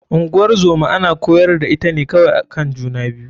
Ngozoma ana kwayar da ita ne kawai akan juna biyu.